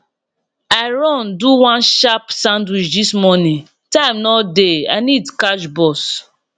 i run do one sharp sandwich this morning time no dey i need catch bus